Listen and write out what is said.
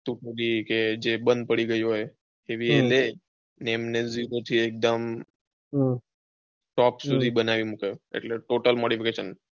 તો એ બંદ પડી હમ ગયેલી હોય એવી એ લે પછી એમને એક દમ હમ top સુધી બનાવીને મૂકે એટલે total